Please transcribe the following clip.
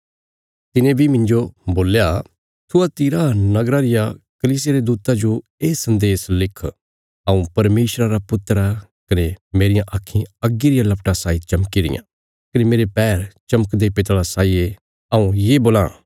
तिने बी मिन्जो बोल्या थुआतीरा नगरा रिया कलीसिया रे दूता जो ये सन्देश लिख हऊँ परमेशरा रा पुत्र आ कने मेरियां आक्खीं अग्गी रिया लपटा साई चमकी रियां कने मेरे पैर चमकदे पितला साई ये हऊँ ये बोलां